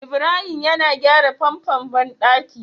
Ibrahim yana gyra famfon banɗaki